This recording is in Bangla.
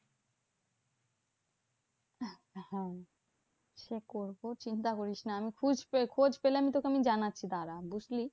হ্যাঁ সে করবো চিন্তা করিস না আমি খোঁজ পেলে আমি তোকে আমি জানাচ্ছি দাঁড়া বুঝলি?